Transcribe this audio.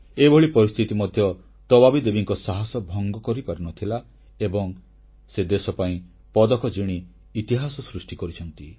ଏଭଳି ପରିସ୍ଥିତି ମଧ୍ୟ ତବାବୀ ଦେବୀଙ୍କ ସାହସ ଭଙ୍ଗ କରିପାରିନଥିଲା ଏବଂ ସେ ଦେଶ ପାଇଁ ପଦକ ଜିତି ଇତିହାସ ସୃଷ୍ଟି କରିଛନ୍ତି